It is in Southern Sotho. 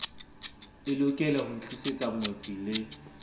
e lokelaho ntlisetsa ngwetsi le